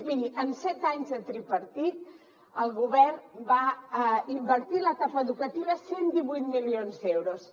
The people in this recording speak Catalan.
miri en set anys de tripartit el govern va invertir en l’etapa educativa cent i divuit milions d’euros